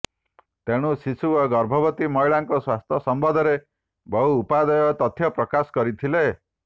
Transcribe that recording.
ତେଣୁ ଶିଶୁ ଓ ଗର୍ଭବତୀ ମହିଳାଙ୍କ ସ୍ୱାସ୍ଥ୍ୟ ସମ୍ବଦ୍ଧରେ ବହୁ ଉପାଦେୟ ତଥ୍ୟ ପ୍ରକାଶ କରିଥିଲେ